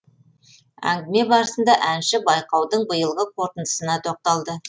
әңгіме барысында әнші байқаудың биылғы қорытындысына тоқталды